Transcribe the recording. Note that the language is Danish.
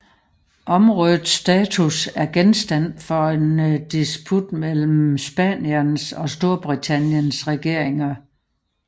Områdets status er genstand for en disput mellem Spaniens og Storbritanniens regeringer